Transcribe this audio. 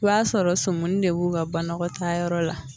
O y'a sɔrɔ sumuni de b'u ka banakɔtaayɔrɔ la.